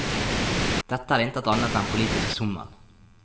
Dette er intet annet enn politisk sommel.